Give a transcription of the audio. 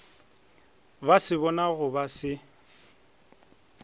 ba se bonago ba se